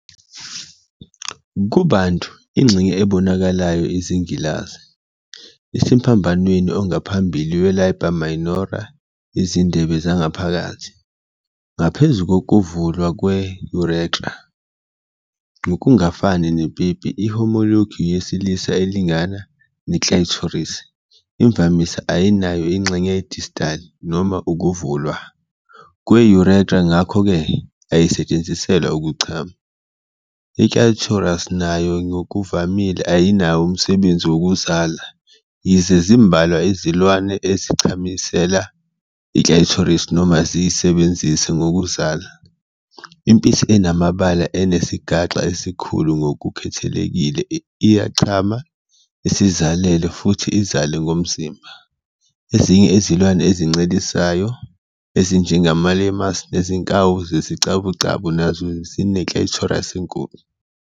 Kubantu, ingxenye ebonakalayo- izingilazi - isemphambanweni ongaphambili we-labia minora izindebe zangaphakathi, ngaphezu kokuvulwa kwe-urethra. Ngokungafani nepipi, i-homologue yesilisa, elingana, ne-clitoris, imvamisa ayinayo ingxenye ye-distal, noma ukuvulwa, kwe-urethra ngakho-ke ayisetshenziselwa ukuchama. I-clitoris nayo ngokuvamile ayinakho umsebenzi wokuzala. Yize zimbalwa izilwane ezichamela i-clitoris noma ziyisebenzise ngokuzala, impisi enamabala, enesigaxa esikhulu ngokukhethekile, iyachama, isizalele futhi izale ngomzimba. Ezinye izilwane ezincelisayo, ezinjengama-lemurs nezinkawu zesicabucabu, nazo zine-clitoris enkulu.